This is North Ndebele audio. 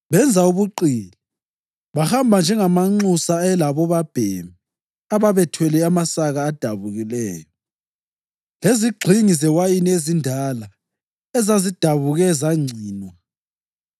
benza ubuqili: Bahamba njengamanxusa ayelabobabhemi ababethwele amasaka adabukileyo lezigxingi zewayini ezindala ezazidabuke zangcinwa.